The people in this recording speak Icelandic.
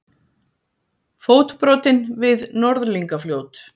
Fótbrotinn við Norðlingafljót